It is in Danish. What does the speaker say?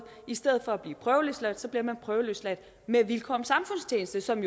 i stedet for at blive prøveløsladt bliver man prøveløsladt med vilkår om samfundstjeneste som